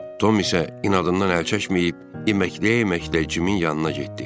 Tom isə inadından əl çəkməyib, iməkləyə-iməklə Cimin yanına getdi.